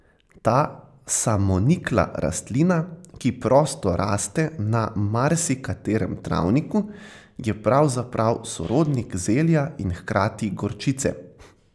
Ta samonikla rastlina, ki prosto raste na marsikaterem travniku, je pravzaprav sorodnik zelja in hkrati gorčice.